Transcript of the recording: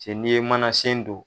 Cɛ n'i ye mana sen don.